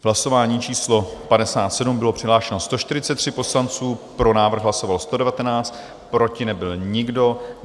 V hlasování číslo 57 bylo přihlášeno 143 poslanců, pro návrh hlasovalo 119, proti nebyl nikdo.